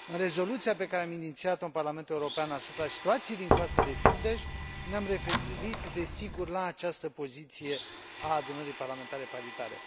În rezoluția pe care am inițiat o în Parlamentul European asupra situației din Coasta de Fildeș ne am referit, desigur, la această poziție a Adunării Parlamentare Paritare.